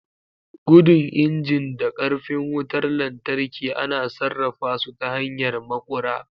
Gudun injin da ƙarfin wutar lantarki ana sarrafa su ta hanyar maƙura.